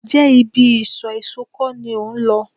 Ǹjẹ́ ibi isọ̀ èso kọ́ ni ò ń lọ?